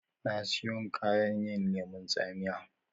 Na siyon kayan yin lemun tsamiya